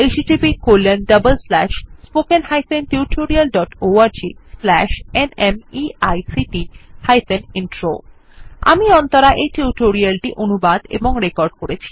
httpspoken tutorialorgNMEICT Intro আমি অন্তরা এই tutorial টি অনুবাদ এবং রেকর্ড করেছি